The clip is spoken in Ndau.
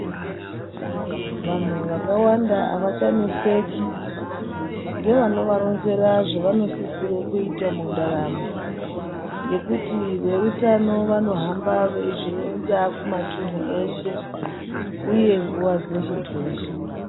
Vanhu vakawanda avachaneseki ngevanovaronzera zvavanosisira kuita mundaramo ngekuti veutano vanohamba veizvironza kumumatunhu eshe uye nguwa dzeshe dzeshe.